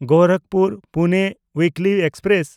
ᱜᱳᱨᱟᱠᱷᱯᱩᱨ–ᱯᱩᱱᱮ ᱩᱭᱤᱠᱞᱤ express